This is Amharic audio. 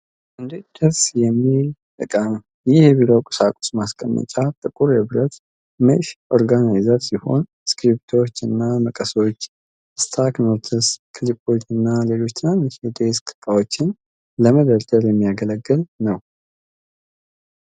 እንዴት ደስ ይላል የሚል እቃ ነው፡፡ ይህ የቢሮ ቁሳቁስ ማስቀመጫ ጥቁር የብረት ሜሽ ኦርጋናይዘር ሲሆን፣ እስክርቢቶዎችን፣ መቀሶችን፣ ስታኪ ኖትስን፣ ክሊፖችንና ሌሎች ትናንሽ የዴስክ እቃዎችን ለመደርደር የሚያገለግል ነው።